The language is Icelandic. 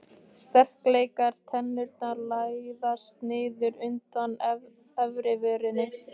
Sterklegar tennurnar læðast niður undan efrivörinni.